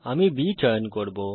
আমি B চয়ন করব